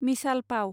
मिसाल पाव